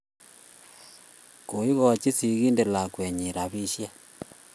Koigochi sigindet lakwennyi rapisyek.